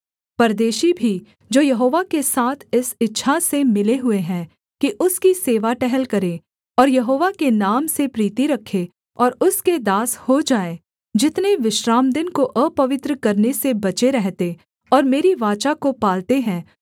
परदेशी भी जो यहोवा के साथ इस इच्छा से मिले हुए हैं कि उसकी सेवा टहल करें और यहोवा के नाम से प्रीति रखें और उसके दास हो जाएँ जितने विश्रामदिन को अपवित्र करने से बचे रहते और मेरी वाचा को पालते हैं